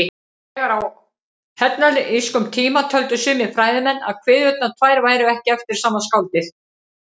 Þegar á hellenískum tíma töldu sumir fræðimenn að kviðurnar tvær væru ekki eftir sama skáldið.